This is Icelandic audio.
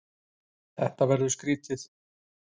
Þetta verður skrýtið.